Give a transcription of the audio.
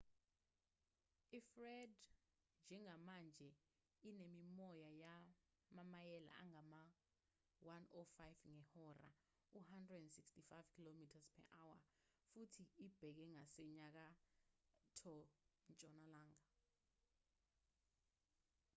ifred njengamanje inemimoya yamamayela angama-105 ngehora u-165 km/h futhi ibheke ngasenyakatho-ntshonalanga